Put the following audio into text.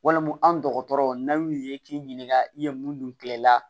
Walima an dɔgɔtɔrɔ n'a y'u ye k'i ɲininka i ye mun dun kilen i la